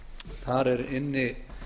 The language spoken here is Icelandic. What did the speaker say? þar er inni